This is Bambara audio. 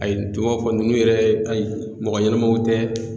A ye tɔw b'a fɔ nunnu yɛrɛ ayi mɔgɔ ɲɛnamaw tɛ.